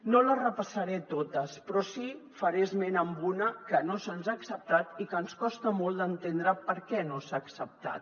no les repassaré totes però sí que faré esment a una que no se’ns ha acceptat i que ens costa molt d’entendre per què no s’ha acceptat